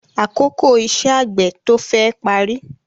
Àkókò iṣẹ́ àgbẹ̀ tó féè parí.